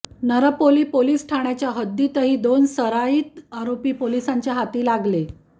Narpoli police ठाण्याच्या हद्दीतही दोन सराईत आरोपी पोलिसांच्या हाती लागले